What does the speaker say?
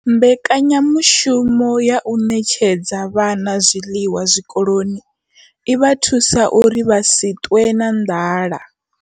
Mbekanyamushumo ya u ṋetshedza vhana zwiḽiwa zwikoloni i vha thusa uri vha si ṱwe na nḓala.